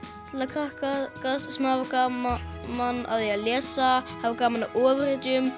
krakka sem hafa gaman af því að lesa hafa gaman af ofurhetjum